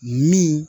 Min